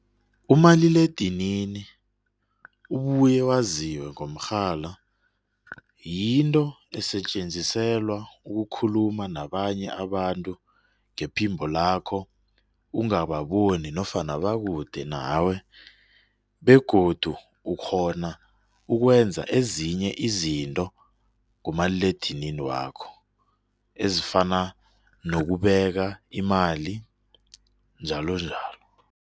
Umaliledinini ubuye waziwe ngomrhala yinto sisetjenziselwa ukukhuluma nabanye abantu ngaphimbo lakho kungaba bona nofana bakude nawe begodu ukghona ukwenza ezinye izinto kumaliledinini wakho ezifana nokubeka imali njalo njalo.